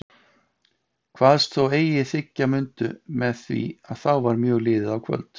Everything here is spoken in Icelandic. Kvaðst þó eigi þiggja mundu með því að þá var mjög liðið á kvöld.